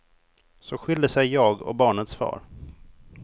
Så skilde sig jag och barnets far.